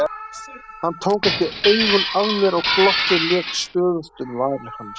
Hann tók ekki augun af mér og glottið lék stöðugt um varir hans.